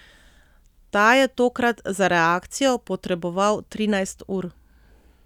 Ta je tokrat za reakcijo potreboval trinajst ur.